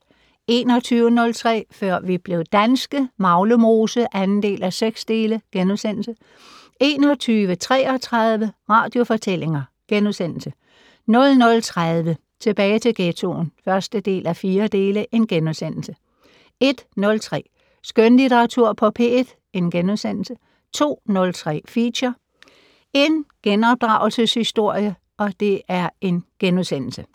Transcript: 21:03: Før vi blev danske - Maglemose (2:6)* 21:33: Radiofortællinger * 00:30: Tilbage til ghettoen (1:4)* 01:03: Skønlitteratur på P1 * 02:03: Feature: En genopdragelses-historie *